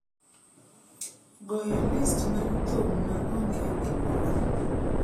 goyo list mar thum ma onge gimoro